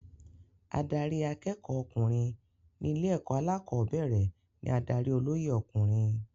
Adarí akẹ́kọ̀ọ́ ọkùnrin ní ilé-ẹ̀kọ́ alẹ́kọ̀ọ́bẹ̀rẹ̀ ní adarí olóyè ọkùnrin.